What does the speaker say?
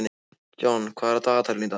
John, hvað er á dagatalinu í dag?